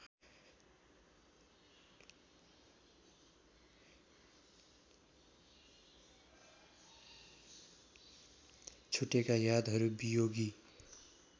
छुटेका यादहरू वियोगी